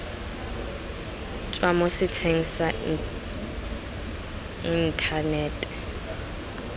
tswa mo setsheng sa inthanete